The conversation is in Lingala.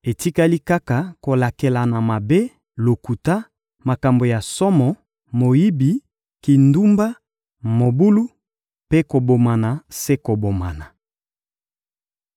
etikali kaka kolakelana mabe, lokuta, makambo ya somo, moyibi, kindumba, mobulu mpe kobomana se kobomana.